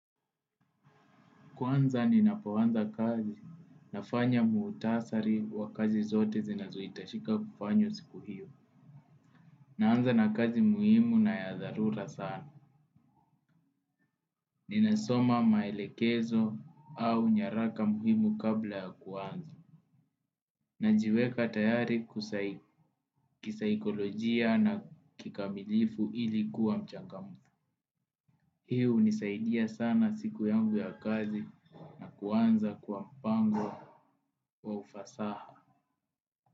Kwanza ninapo anza kazi nafanya muutasari wa kazi zote zinazohitashika kufanywa siku hiyo. Naanza na kazi muhimu na ya dharura sana. Ninasoma maelekezo au nyaraka muhimu kabla ya kuanza. Najiweka tayari kisaikolojia na kikamilifu ili kuwa mchangam. Hii hunisaidia sana siku yangu ya kazi na kuanza kwa mpango wa ufasaha.